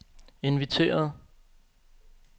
inviteret